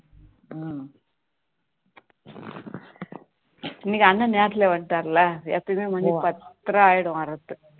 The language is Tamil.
இன்னைக்கு அண்ணா நேரத்துல வந்துட்டாருல எப்பவுமே மணி பத்தரை ஆகிடும் வர்றதுக்கு